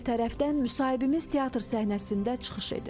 Digər tərəfdən müsahibimiz teatr səhnəsində çıxış edir.